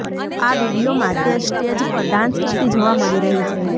આ વીડિયોમાં તે સ્ટેજ પર ડાન્સ કરતી જોવા મળી રહી છે